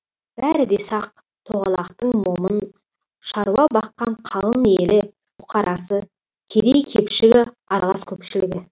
бәрі де сақ тоғалақтың момын шаруа баққан қалың елі бұқарасы кедей кепшігі аралас көпшілігі